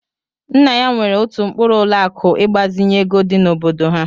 Nna ya nwere otu mkpuru ụlọ akụ ịgbazinye ego dị n'obodo ha.